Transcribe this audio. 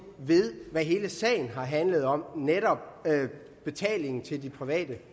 ved hvad hele sagen har handlet om netop betalingen til de private